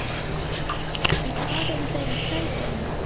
En hvað eru þeir að sækja í?